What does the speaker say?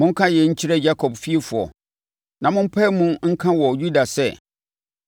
“Monka yei nkyerɛ Yakob fiefoɔ na mo mpae mu nka wɔ Yuda sɛ: